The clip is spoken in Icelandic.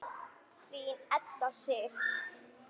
Þín Edda Sif.